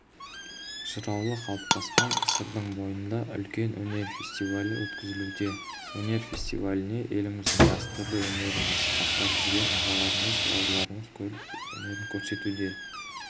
жыраулы қалыптасқан сырдың бойында үлкен өнер фестивалі өткізілуде өнер фестиваліне еліміздің дәстүрлі өнерін насихаттап жүрген ағаларымыз бауырларымыз келіп өнерін көрсетуде